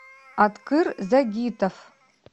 аткыр загитов